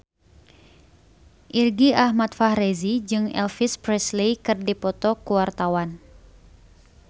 Irgi Ahmad Fahrezi jeung Elvis Presley keur dipoto ku wartawan